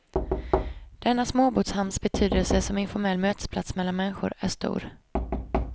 Denna småbåtshamns betydelse som informell mötesplats mellan människor är stor.